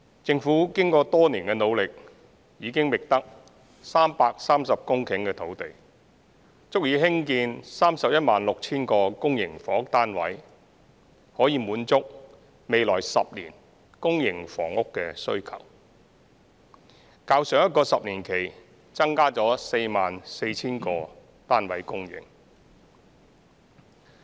政府經過多年的努力，已經覓得330公頃土地，足以興建 316,000 個公營房屋單位，可以滿足未來10年公營房屋單位的需求，較上一個10年期增加了 44,000 個單位供應。